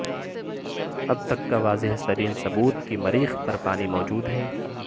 اب تک کا واضح ترین ثبوت کی مریخ پر پانی موجود ہے